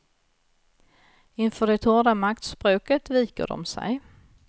Inför det hårda maktspråket viker de sig.